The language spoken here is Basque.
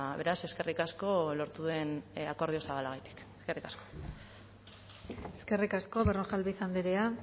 beraz eskerrik asko lortu den akordio zabalagatik eskerrik asko eskerrik asko berrojalbiz andrea